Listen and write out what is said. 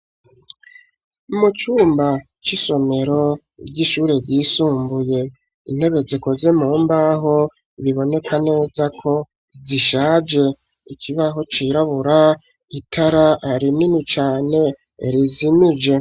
Mu cumba c'isomero ry'ishuri ry'isumbuye, intebe zikoze mu mbaho, biboneka neza ko zishaje, ikibaho cirabura, itara rinini cane rizimije.